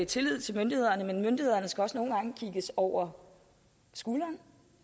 tillid til myndighederne men myndighederne skal også nogle gange kigges over skulderen